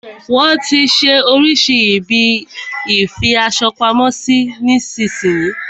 Wọn tí ń ṣe oríṣirísi ibi ìfi aṣo pamo sí nísin yí.